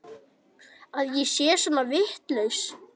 Að ég sé svona vitlaus?